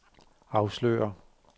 afslører